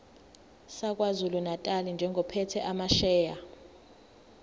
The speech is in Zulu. sakwazulunatali njengophethe amasheya